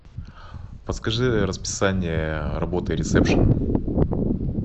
подскажи расписание работы ресепшена